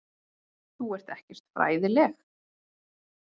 Þú ert ekkert fræðileg.